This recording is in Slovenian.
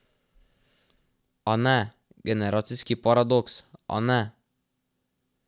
A ne, generacijski paradoks, a ne.